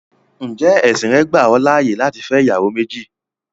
Ǹjẹ́ ẹ̀sìn rẹ́ gbà ọ láyé láti fẹ́ ìyàwó méjì?